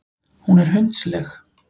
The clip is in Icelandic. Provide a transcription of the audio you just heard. Hún er hundsleg.